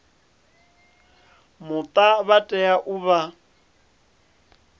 muta vha tea u vha